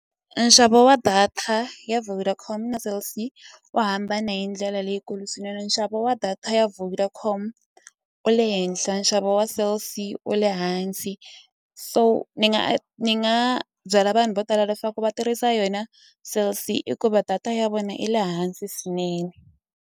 Nxavo wa data ya Vodacom na Cell C u hambane hi ndlela leyikulu swinene nxavo wa data ya Vodacom wu le henhla nxavo wa Cell C u le hansi so ni nga ni nga byela vanhu vo tala leswaku va tirhisa yona Cell C i ku va data ya vona yi le hansi swinene.